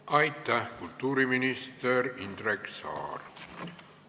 Aitäh, kultuuriminister Indrek Saar!